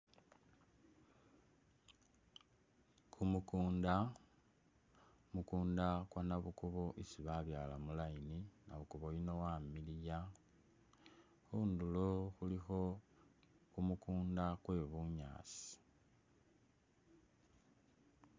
Kumukunda, Kumukunda kwa nabukubo isi babyaala mu line, nabukubo yuno wamiliya, khundulo khulikho kumukunda kwe bunyaasi.